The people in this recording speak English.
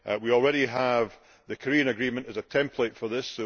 We already have the Korean agreement as a template for this.